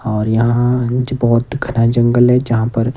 और यहां मुझे बहोत घना जंगल है जहां पर--